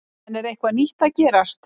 En er eitthvað nýtt að gerast?